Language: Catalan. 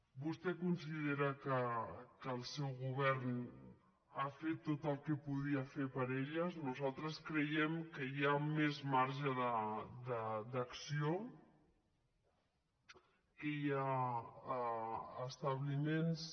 vostè considera que el seu govern ha fet tot el que podia fer per elles nosaltres creiem que hi ha més marge d’acció que hi ha establiments